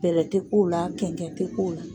Bɛlɛ tɛ k'o la kɛnkɛn tɛ k'o la.